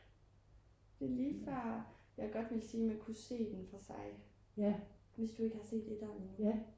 det lige før jeg godt ville sige at man kan se den for sig hvis du ikke har set 1'eren endnu